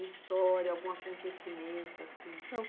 Uma história, algum acontecimento assim?